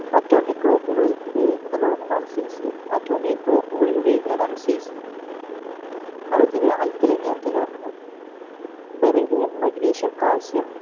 atomic clock കളിൽ ഉപയോഗിക്കുന്ന ലോഹമാണ് cesiumatomic clock കളിൽ ഉപയോഗിക്കുന്നതാണ് cesium അടുത്തത് alkalin ചേർത്ത ലോഹങ്ങൾ beryllium magnesium calcium